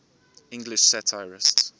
english satirists